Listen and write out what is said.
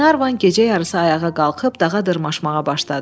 Glenarvan gecə yarısı ayağa qalxıb dağa dırmaşmağa başladı.